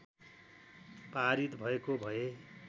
पारित भएको भए